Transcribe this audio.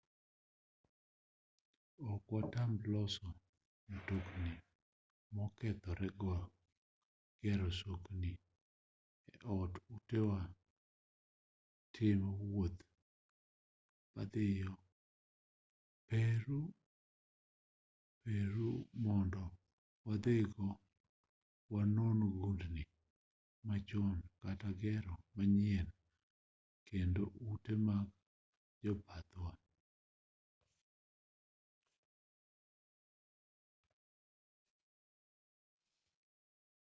ok wanatim loso mtokni mokethore gero sokni e tok utewa timo wuoth madhiyo peru mondo wadhiyo wanon gundni machon kata gero manyien kendo ute mag jobathwa